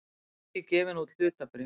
ekki gefin út hlutabréf.